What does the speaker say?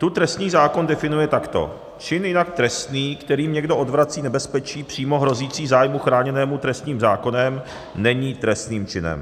Tu trestní zákon definuje takto: Čin jinak trestný, kterým někdo odvrací nebezpečí přímo hrozící zájmu chráněnému trestním zákonem, není trestným činem."